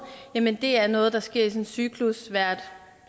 jamen det er noget der sker i sådan en cyklus hvert